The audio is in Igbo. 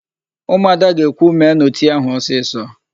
Ụmụada ga-ekwu, "meenụ tii áhụ̀ ọsịsọ"!